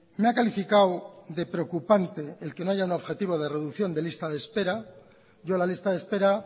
me ha calificado de preocupante el que no haya un objetivo de reducción de lista de espera yo la lista de espera